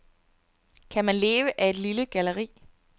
Kan man leve af et lille galleri?